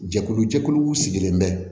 Jɛkulu jɛkuluw sigilen bɛ